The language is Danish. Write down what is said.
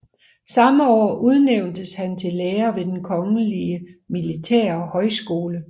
Samme år udnævntes han til lærer ved Den kongelige militære Højskole